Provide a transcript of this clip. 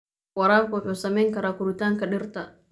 Waraabka wuxuu saameyn karaa koritaanka dhirta.